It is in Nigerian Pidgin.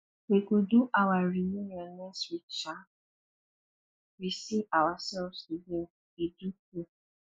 we go do our reunion next week um we see ourselves again e do tey